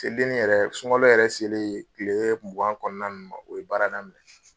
Seli deni yɛrɛ sunkalo yɛrɛ selen kile mugan kɔnɔna ninnu ma o ye baara daminɛ.